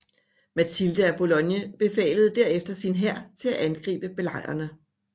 Matilde af Boulogne befalede derefter sin hær til at angribe belejrerne